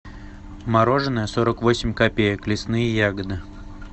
мороженое сорок восемь копеек лесные ягоды